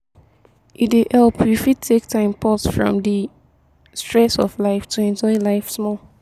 e dey help you fit take time pause from di stress of life to enjoy life small